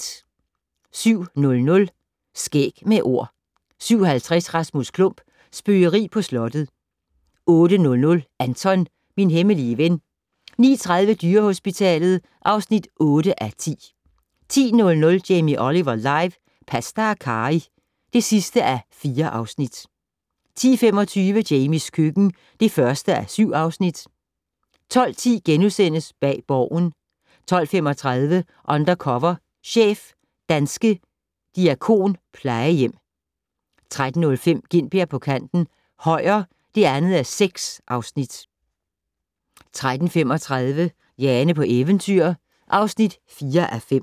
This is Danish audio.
07:00: Skæg med Ord 07:50: Rasmus Klump - Spøgeri på slottet 08:00: Anton - min hemmelige ven 09:30: Dyrehospitalet (8:10) 10:00: Jamie Oliver live - pasta og karry (4:4) 10:25: Jamies køkken (1:7) 12:10: Bag Borgen * 12:35: Undercover chef - danske diakonplejehjem 13:05: Gintberg på kanten - Højer (2:6) 13:35: Jane på eventyr (4:5)